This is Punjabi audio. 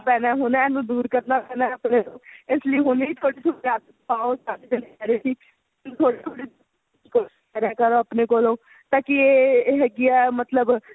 ਪੈਣਾ ਹੁਣ ਇਹਨੂੰ ਦੂਰ ਕਰਨਾ ਪੈਣਾ ਆਪਣੇ ਤੋਂ ਇਸ ਲਈ ਹੁਣੀ ਥੋੜੀ ਥੋੜੀ ਆਦਤ ਪਾਉ ਸਾਰੇ ਜਾਣੇ ਕਹਿ ਰਹੇ ਸੀ ਕੋਸ਼ਿਸ ਕਰਿਆ ਕਰੋ ਆਪਣੇ ਕੋਲੋਂ ਤਾ ਕੀ ਇਹ ਹੈਗੀ ਏ ਮਤਲਬ